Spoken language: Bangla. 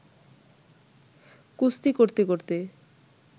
কুস্তি করতে-করতে